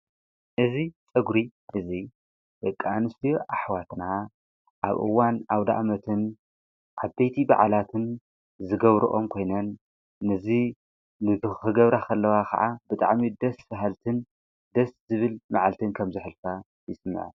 እዙ ጸጕሪ እዙይ የቃንስ ኣኅዋትና ኣብ ኡዋን ኣብ ደኣመትን ዓተይቲ በዕላትን ዝገብርኦም ኮይነን ንዙ ንቶ ኽገብራ ኸለዋ ኸዓ ብጣዕሚ ደስ ፍሃልትን ደስ ዝብል መዓልትን ከምዝኅልፋ ይስምዐን።